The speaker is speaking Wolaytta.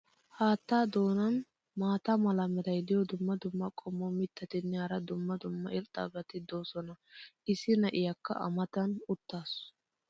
Haattaa doonan maata mala meray diyo dumma dumma qommo mitattinne hara dumma dumma irxxabati de'oosona. issi na"aykka a mata uttiis.